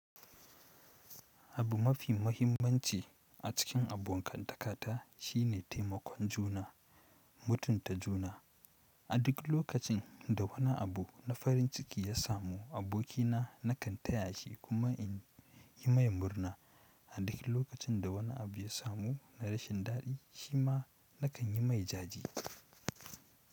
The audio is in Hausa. Abu mafi mahimmanci a cikin abokan takata shine taimakon juna, mutunta juna. A duk lokacin da wani abu na farin ciki ya samu abokina nakan taya shi kuma in yi mai murna, a duk lokacin da wani abu ya samu na rashin dadi shi ma nakan yi mai jaje.